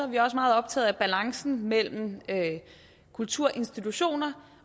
vi også meget optaget af balancen mellem kulturinstitutioner